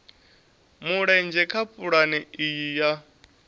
mulenzhe kha pulane iyi ya